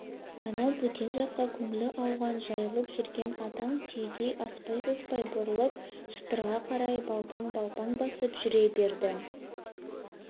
анау бөтен жаққа көңілі ауған жайылып жүрген атан түйедей аспай-саспай бұрылып шатырға қарай балпаң-балпаң басып жүре берді